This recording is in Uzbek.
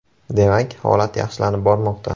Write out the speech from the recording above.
Demak, holat yaxshilanib bormoqda.